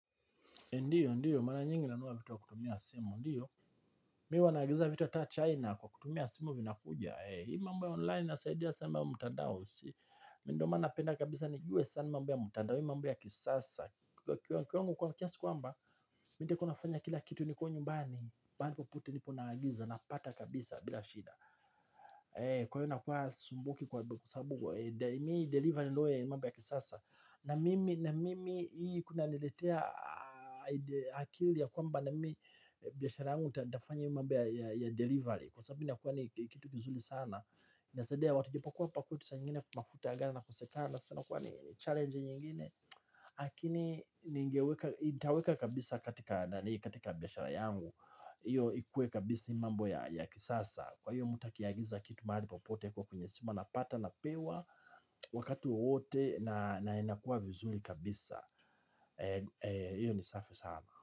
Ndiyo, ndiyo, mara nyingi nanunua vitu kwa kutumia simu, ndiyo Mimi huwa naagiza vitu hata China kwa kutumia simu vinakuja. Hii mambo ya online inasaidia sana ya mutadao ndio maana napenda kabisa nijue sana mambo ya mtandao. Hii mambo ya kisasa kwa kiwango kwa kiasi kwamba nitakua nafanya kila kitu nikiwa nyumbani mahali popote nipo naagiza napata kabisa bila shida. Kwa hio inakuwa hasumbuki kwa sabu. Hoi delivery niloe ni mambo ya kisasa. Na mimi ii kunaniletea akili ya kwamba na mimi biashara yangu nitafanya hii mambo ya delivery. Kwa sabu inakuwa ni kitu kizuri sana inasaidia watu japokuwa hapa kwetu sa nyingine mafuta gari inakosekana. Sabu huwa ni challenge nyingine lakini nitaweka kabisa katika biashara yangu ndiyo ikue kabisa mambo ya kisasa. Kwa iyo mtu akiagiza kitu mahali popote kwa kwenye simu anapata anapewa wakati wowote na inakuwa vizuri kabisa. Hiyo ni safi sana.